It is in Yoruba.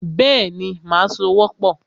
Bẹ́ẹ̀ni, màá sowọ́pọ̀